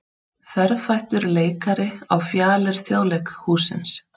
Ferfættur leikari á fjalir Þjóðleikhússins